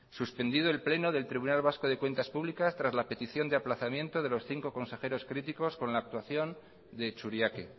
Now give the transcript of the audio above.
suspendido el pleno del tribunal vasco de cuentas públicas tras la petición de aplazamiento de los cinco consejeros críticos con la actuación de churiaque